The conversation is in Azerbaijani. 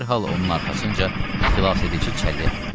Dərhal onun arxasınca xilasedici çəllək atdılar.